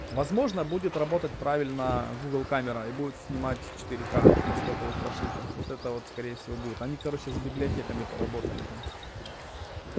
возможно будет работать правильно гугл камера и будет снимать четыре-к на стоковых прошивках вот это вот скорее всего будет они короче с библиотеками поработали там